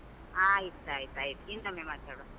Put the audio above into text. ಆಯ್ತ್ ಆಯ್ತ್ ಆಯ್ತು, ಇನ್ನೊಮೆ ಮಾತಾಡುವ.